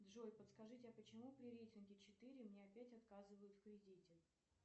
джой подскажите а почему при рейтинге четыре мне опять отказывают в кредите